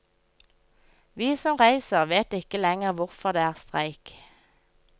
Vi som reiser vet ikke lenger hvorfor det er streik.